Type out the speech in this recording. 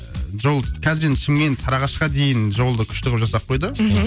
ыыы жол қазір енді шымкент саырағашқа дейін жолды күшті қылып жасап қойды мхм